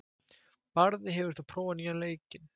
Barði, hefur þú prófað nýja leikinn?